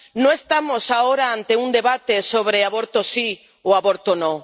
No estamos ahora ante un debate sobre aborto sí o aborto no.